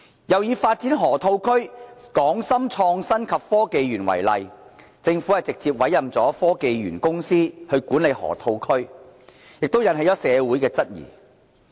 又以發展河套區"港深創新及科技園"為例，政府直接委任科技園公司管理河套區的做法亦引起社會的質疑。